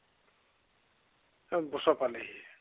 ওচৰ পালেহি।